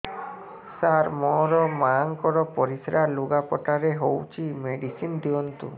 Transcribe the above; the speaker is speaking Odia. ସାର ମୋର ମାଆଙ୍କର ପରିସ୍ରା ଲୁଗାପଟା ରେ ହଉଚି ମେଡିସିନ ଦିଅନ୍ତୁ